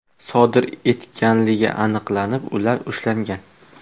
sodir etganligi aniqlanib, ular ushlangan.